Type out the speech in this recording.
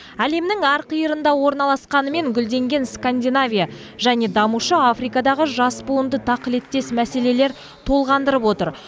әлемнің әр қиырында орналасқанымен гүлденген скандинавия және дамушы африкадағы жас буынды тақылеттес мәселелер толғандырып отыр